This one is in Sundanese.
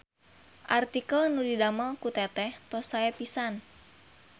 Artikel nu didamel ku teteh tos sae pisan